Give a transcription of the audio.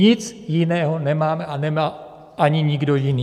Nic jiného nemáme a nemá ani nikdo jiný.